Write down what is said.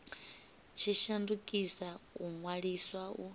tshi shandukisa u ṅwaliswa u